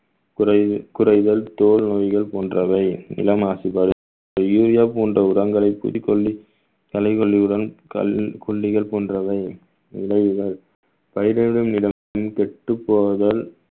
குறை~ குறைகள் தோல் நோய்கள் போன்றவை இளம் ஆசிபா urea போன்ற உரங்களை குடிகொண்டு தலை கல்லில் கொல்லிகள் போன்றவை விளைவுகள் பயிரிடும் இடமும் கெட்டப் போவதால்